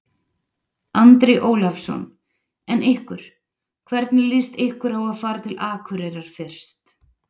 Andri Ólafsson: En ykkur, hvernig líst ykkur á að fara til Akureyrar fyrst?